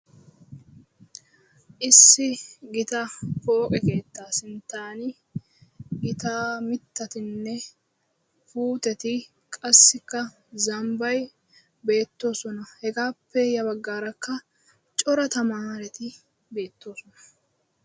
Issi gita pooqe keettaa sinttan gita mittatunne puuteti qassikka zambbay beettoosona. Hegappe ya baggaara cora tamaareti beettoosona.